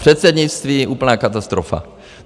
Předsednictví úplná katastrofa.